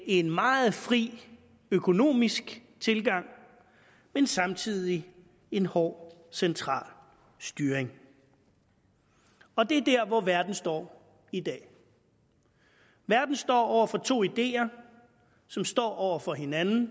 en meget fri økonomisk tilgang men samtidig en hård central styring og det er der verden står i dag verden står over for to ideer som står over for hinanden